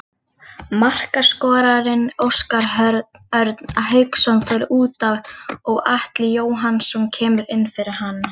Markaskorarinn Óskar Örn Hauksson fer útaf og Atli Jóhannsson kemur inn fyrir hann.